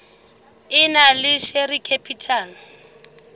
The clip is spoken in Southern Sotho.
e nang le share capital